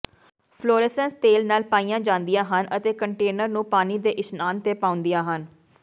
ਫੁਲਰੇਸਸੇਂਸ ਤੇਲ ਨਾਲ ਪਾਈਆਂ ਜਾਂਦੀਆਂ ਹਨ ਅਤੇ ਕੰਟੇਨਰ ਨੂੰ ਪਾਣੀ ਦੇ ਇਸ਼ਨਾਨ ਤੇ ਪਾਉਂਦੀਆਂ ਹਨ